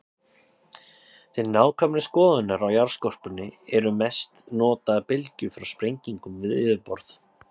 Til nákvæmari skoðunar á jarðskorpunni eru mest notaðar bylgjur frá sprengingum við yfirborð.